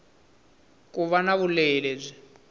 ku va na vulehi lebyi